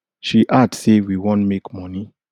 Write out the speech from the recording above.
she add say we wan make money